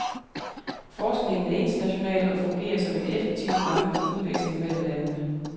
Forskningen er international og fungerer som en effektiv ramme for udveksling mellem landene.